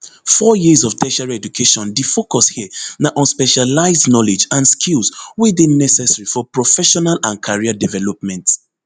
four years of tertiary educationdi focus here na on specialised knowledge and skills wey dey necessary for professional and career development